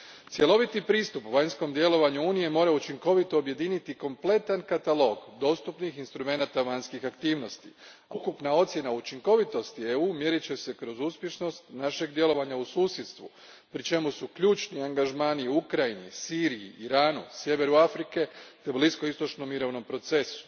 Cjeloviti pristup vanjskom djelovanju Unije mora učinkovito objediniti kompletan katalog dostupnih instrumenata vanjskih aktivnosti, a ukupna ocjena učinkovitosti EU a mjerit će se kroz uspješnost našeg djelovanja u susjedstvu, pri čemu su ključni angažmani u Ukrajini, Siriji, Iranu, sjeveru Afrike te bliskoistočnom mirovnom procesu.